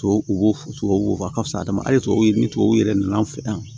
Tubabu tubabu fa ka fisa adama tubabu ni tubabu yɛrɛ nana an fɛ yan